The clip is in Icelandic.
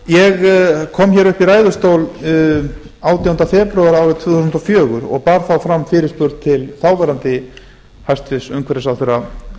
ég kom upp í ræðustól átjánda febrúar árið tvö þúsund og fjögur og bar þá fram fyrirspurn til þáv hæstvirtur umhverfisráðherra